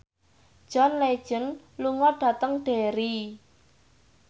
John Legend lunga dhateng Derry